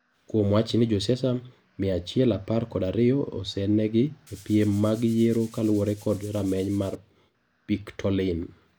Kuom wachni josiasa mia achiel apar kod ariyo osenegi e piem mag yiero kaluore kod rameny mar pictoline.